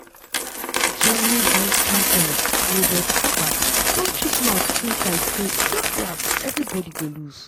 germany vice-chancellor robert habeck don chook mouth inside say las-las everibodi go loose.